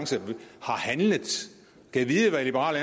handlinger gad vide hvad liberal